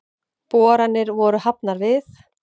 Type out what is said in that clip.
Boranir voru hafnar við